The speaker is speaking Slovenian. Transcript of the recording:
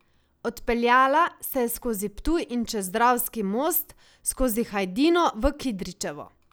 Odpeljala se je skozi Ptuj in čez Dravski most skozi Hajdino v Kidričevo.